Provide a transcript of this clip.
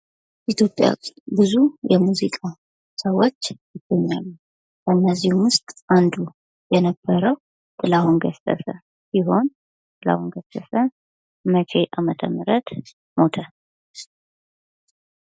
ኢትዮጵያ ውስጥ ብዙ የሙዚቃ ሰዎች ይገኛሉ ። ከእነዚህም ውስጥ አንዱ የነበረው ጥላሁን ገሰሰ ሲሆን ጥላሁን ገሰሰ መቼ አመተ ምህረት ሞተ?